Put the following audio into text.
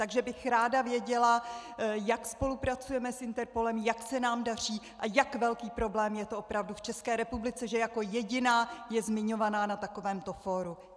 Takže bych ráda věděla, jak spolupracujeme s Interpolem, jak se nám daří a jak velký problém je to opravdu v České republice, že jako jediná je zmiňována na takovém fóru.